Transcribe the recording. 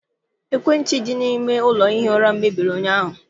Ekwentị dị n'ime ụlọ ihi ura m mebiri ụnyaahụ..